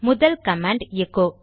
முதல் command echo